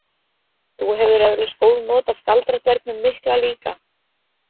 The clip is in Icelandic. Þú hefur eflaust góð not af galdradvergnum mikla líka.